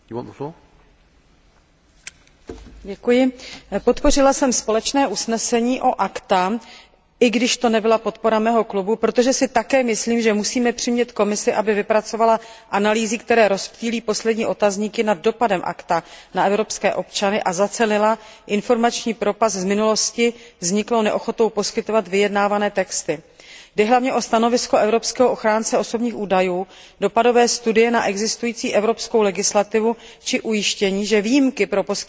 Podpořila jsem společné usnesení o ACTA, i když jsem hlasovala jinak než můj poslanecký klub, protože si také myslím, že musíme přimět Komisi, aby vypracovala analýzy, které rozptýlí poslední otazníky nad dopadem ACTA na evropské občany, a zacelila informační propast z minulosti vzniklou neochotou poskytovat vyjednávané texty. Jde hlavně o stanovisko evropského ochránce osobních údajů, dopadové studie na existující evropskou legislativu či ujištění, že výjimky pro poskytovatele internetového připojení budou nedotčeny.